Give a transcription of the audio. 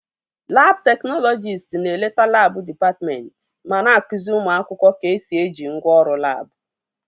Labụ teknọlọjist na-eleta labụ dịpatmentị ma na-akụzi ụmụ akwụkwọ ka-esi eji ngwaọrụ labụ